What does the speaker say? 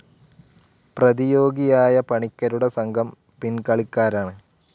പ്രതിയോഗിയായ പണിക്കരുടെ സംഘം പിൻകളിക്കാരാണ്.